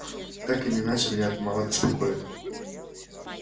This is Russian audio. так или иначе меня это мало беспокоит